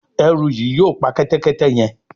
Eru yí yóò pá Kẹ́tẹ́kẹ́tẹ́ yén.